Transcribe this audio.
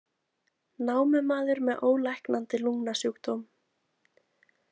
Námumaður með ólæknandi lungnasjúkdóm